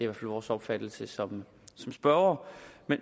vores opfattelse som spørgere